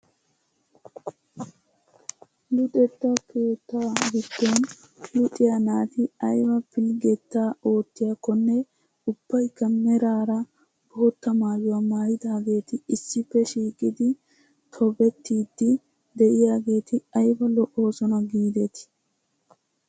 Luxetta keettaa giddon luxxiyaa naati ayba pilggetaa oottiyaakonne ubaykka meraara bootta maayuwaa maayidageti issippe shiiqidi tobettiidi de'iyaageti ayba lo"oosona gidetii!